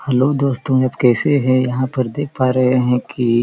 hello दोस्तों आप कैसे है यहाँ पर देख पा रहे है कि --